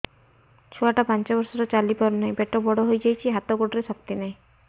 ଛୁଆଟା ପାଞ୍ଚ ବର୍ଷର ଚାଲି ପାରୁ ନାହି ପେଟ ବଡ଼ ହୋଇ ଯାଇଛି ହାତ ଗୋଡ଼ରେ ଶକ୍ତି ନାହିଁ